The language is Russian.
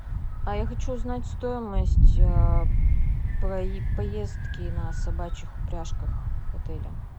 а я хочу узнать стоимость поездки на собачьих упряжках в отеле